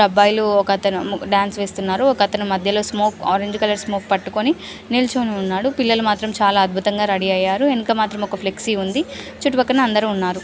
అబ్బాయిలు ఒకతను డాన్స్ చేస్తున్నారు. ఒక అతను మధ్యలో స్మోక్ ఆరెంజ్ కలర్ స్మోక్ పట్టుకొని నిల్చోని ఉన్నాడు. పిల్లలు మాత్రం చాలా అద్భుతంగా రెడీ అయ్యారు. వెనుక మాత్రం ఒక ఫ్లెక్సీ ఉంది. చుట్టుపక్కల అందరు ఉన్నారు.